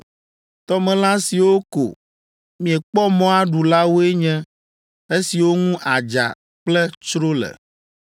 “Tɔmelã siwo ko miekpɔ mɔ aɖu la woe nye esiwo ŋu adza kple tsro le.